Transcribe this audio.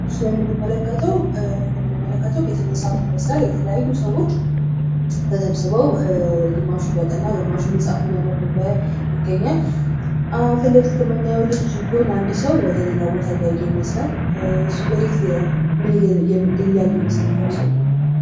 በምስሉ ላይ እንደምንመለከተው ቤተመፃፍት ይመስላል የተለያዩ ሰዎች ተሰብስበው ግማሹ እያጠኑ ግማሹ መፅሀፍ እያነበቡ ይገኛሉ። ፊት ለፊት ከምናየው ልጅ ጎን አንድ ሰው ወደ ሌላ ቦታ እያየ ይታያል ይህ ሰው ምን እያየ ይመስላቸዋል?